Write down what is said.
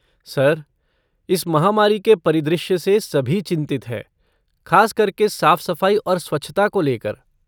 Sir, इस महामारी के परिदृश्य से सभी चिंतित हैं, ख़ासकर के साफ़ सफ़ाई और स्वच्छता को लेकर।